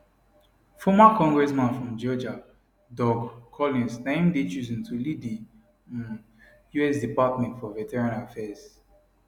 former congressman from georgia doug collins na im dey chosen to lead di um us department for veterans affairs